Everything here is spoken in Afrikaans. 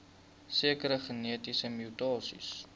sekere genetiese mutasies